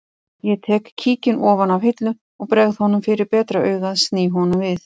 Ég tek kíkinn ofan af hillu og bregð honum fyrir betra augað sný honum við